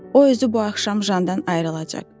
O özü bu axşam Jandan ayrılacaq.